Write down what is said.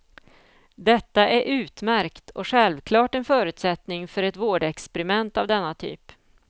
Detta är utmärkt och självklart en förutsättning för ett vårdexperiment av denna typ.